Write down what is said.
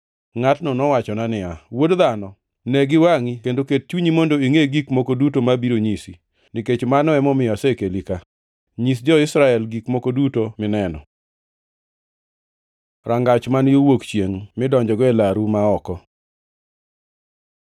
Ngʼatno nowachona niya, “Wuod dhano, ne giwangʼi kendo ket chunyi mondo ingʼe gik moko duto abiro nyisi, nikech mano emomiyo osekeli ka. Nyis jo-Israel gik moko duto mineno.” Rangach man yo wuok chiengʼ midonjogo e laru ma oko